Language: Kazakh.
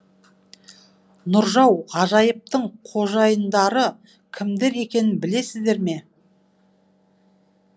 нұржау ғажайыптың қожайындары кімдер екенін білесіздер ме